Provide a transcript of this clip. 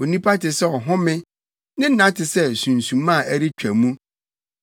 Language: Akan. Onipa te sɛ ɔhome; ne nna te sɛ sunsuma a ɛretwa mu.